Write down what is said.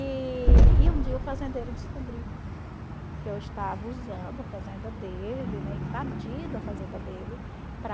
E e um dia o fazendeiro descobriu que eu estava usando a fazenda dele, invadindo a fazenda dele para...